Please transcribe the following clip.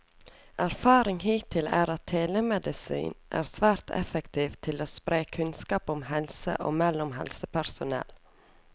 Erfaring hittil er at telemedisin er svært effektiv til å spre kunnskap om helse og mellom helsepersonell.